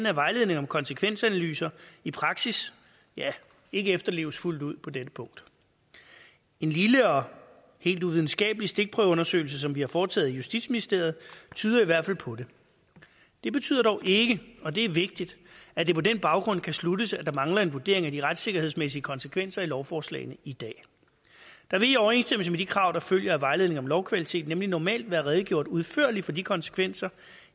at vejledning om konsekvensanalyser i praksis ikke efterleves fuldt ud på dette punkt en lille og helt uvidenskabelig stikprøveundersøgelse som vi har foretaget i justitsministeriet tyder i hvert fald på det det betyder dog ikke og det er vigtigt at det på den baggrund kan sluttes at der mangler en vurdering af de retssikkerhedsmæssige konsekvenser i lovforslagene i dag der vil i overensstemmelse med de krav der følger af vejledning om lovkvalitet nemlig normalt være redegjort udførligt for de konsekvenser